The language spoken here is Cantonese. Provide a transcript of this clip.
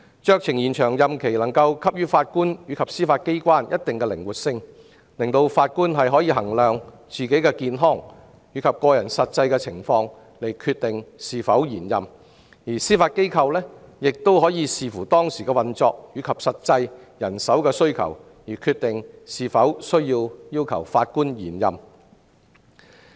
酌情延長任期能夠給予法官及司法機構一定的靈活性，讓法官可因應自己的健康及個人實際情況決定是否延任，而司法機構亦可視乎當時的運作及實際人手需要而決定是否要求法官延任。